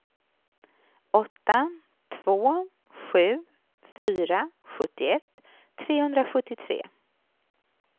åtta två sju fyra sjuttioett trehundrasjuttiotre